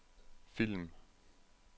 film